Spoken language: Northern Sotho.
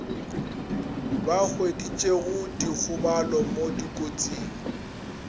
ba hweditšego dikgobalo mo dikotsing